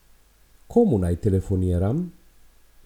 Komu naj telefoniram?